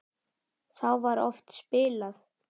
Þá var oft spilað.